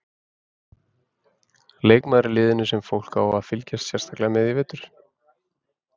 Leikmaður í liðinu sem fólk á að fylgjast sérstaklega með í vetur?